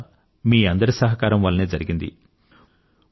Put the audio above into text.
ఇదంతా మీ అందరి సహకారం వల్లనే జరిగింది